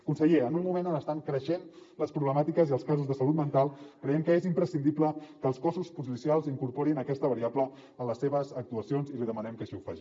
conseller en un moment on estan creixent les problemàtiques i els casos de salut mental creiem que és imprescindible que els cossos policials incorporin aquesta variable en les seves actuacions i li demanem que així ho faci